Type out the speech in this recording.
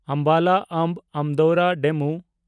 ᱟᱢᱵᱟᱞᱟ–ᱟᱢᱵᱷ ᱟᱱᱫᱳᱣᱨᱟ ᱰᱮᱢᱩ